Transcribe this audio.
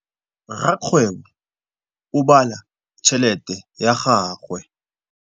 Rakgwêbô o bala tšheletê ya gagwe.